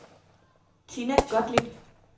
Tinna Gottlieb